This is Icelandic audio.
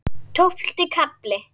Tólfti kafli